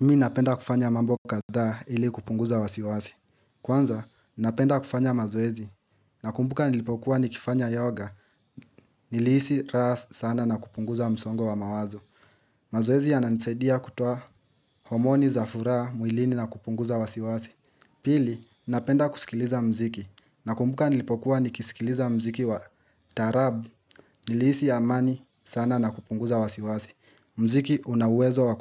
Mimi napenda kufanya mambo katha ili kupunguza wa siwasi. Kwanza, napenda kufanya mazoezi. Nakumbuka nilipokuwa ni kifanya yoga, nilihisi raha sana na kupunguza msongo wa mawazo. Mazoezi yananisadia kutoa homoni za furaha mwilini na kupunguza wa siwasi. Pili, napenda kusikiliza mziki. Nakumbuka nilipokuwa ni kisikiliza mziki wa taarabu, nilihisi amani sana na kupunguza wa siwasi. Mziki una uwezo wa